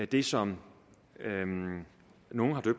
det som nogle